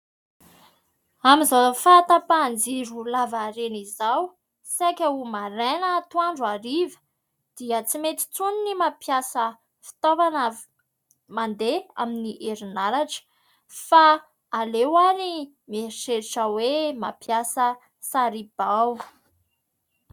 Amin'izao fahatapahan-jiro lavareny izao saika ho maraina, atoandro, hariva dia tsy mety intsony ny mampiasa fitaovana mandeha amin'ny herinaratra fa aleo ary mieritreritra hoe mampiasa saribao.